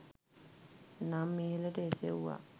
නම් ඉහළට එසවුවා.